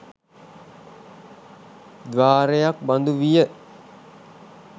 ද්වාරයක් බඳුවිය.